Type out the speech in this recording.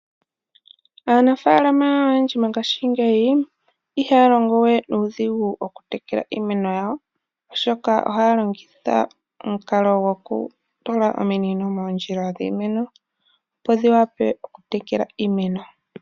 Aanafalama oyendji mongashingeyi ihalongowe nudhingu okutekela iimeno yawo oshoka ohalongitha omunkalo ngokutula omiinino mondjila dhimeno opo dhiwape okutekela iimeno.